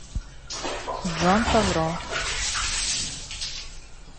джон фавро